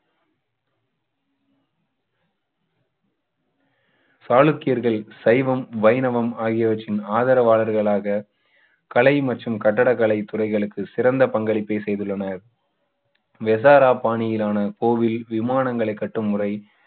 சாளுக்கியர்கள் சைவம் வைணவம் ஆகியவற்றின் ஆதரவாளர்களாக தலை மற்றும் கட்டிடக்கலை துறைகளுக்கு சிறந்த பங்களிப்பை செய்துள்ளனர் வெசாரா பாணியிலான கோவில் விமானங்களை கட்டும் முறை